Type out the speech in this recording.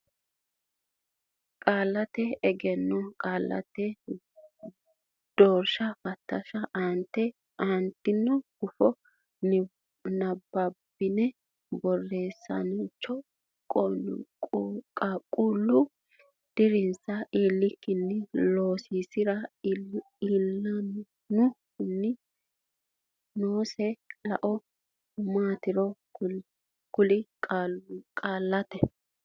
Qaallate Egenno Qaallate Doorshi Fatilsha Aante gufo nabbabbine borreessaanchoho qaaqquulle dirinsa iillikkinni loosiisi ra lainohunni noosi lao maatiro kulle Qaallate.